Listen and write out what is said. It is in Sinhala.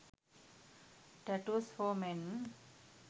tattoos for men